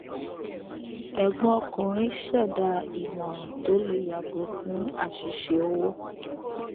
ẹgbọn ọkùnrin ṣẹdá ìmòràn tó lè yàgò fún àṣìṣe owó